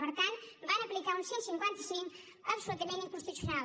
per tant van aplicar un cent i cinquanta cinc absolutament inconstitucional